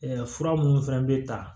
fura minnu fana bɛ ta